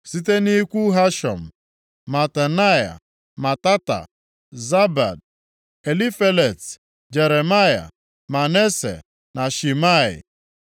Site nʼikwu Hashum, Matenai, Matata, Zabad, Elifelet, Jeremai, Manase na Shimei.